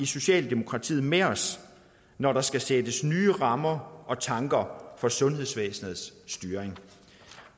socialdemokratiet med os når der skal sættes nye rammer og tanker for sundhedsvæsenets styring